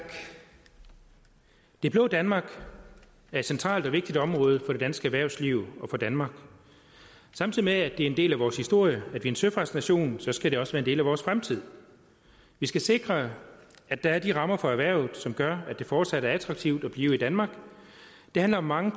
det blå danmark er et centralt og vigtigt område for det danske erhvervsliv og for danmark samtidig med at det er en del af vores historie at vi er en søfartsnation skal det også være en del af vores fremtid vi skal sikre at der er de rammer for erhvervet som gør at det fortsat er attraktivt at blive i danmark det handler om mange